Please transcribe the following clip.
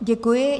Děkuji.